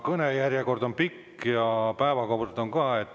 Kõnejärjekord on pikk ja päevakord ka.